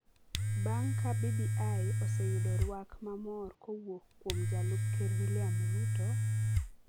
bang’ ka BBI oseyudo rwak ma mor kowuok kuom Jalup Ker William Ruto,